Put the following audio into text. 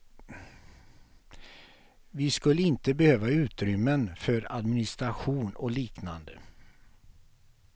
Vi skulle inte behöva utrymmen för administration och liknande.